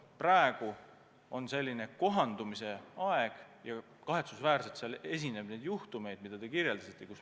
Praegu on kohandumise aeg ja tõesti kahetsusväärselt esineb juhtumeid, mida te kirjeldasite.